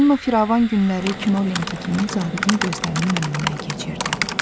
Ailənin o firavan günləri kino lenti kimi zabitin gözlərinin önündən keçirdi.